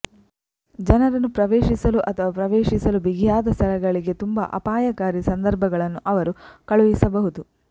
ಜನರನ್ನು ಪ್ರವೇಶಿಸಲು ಅಥವಾ ಪ್ರವೇಶಿಸಲು ಬಿಗಿಯಾದ ಸ್ಥಳಗಳಿಗೆ ತುಂಬಾ ಅಪಾಯಕಾರಿ ಸಂದರ್ಭಗಳನ್ನು ಅವರು ಕಳುಹಿಸಬಹುದು